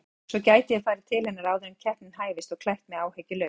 Svo gæti ég farið til hennar áður en keppnin hæfist og klætt mig áhyggjulaus.